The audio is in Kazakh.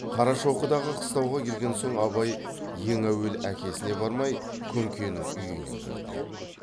қарашоқыдағы қыстауға келген соң абай ең әуелі әкесіне бармай күнкенің үйіне кірді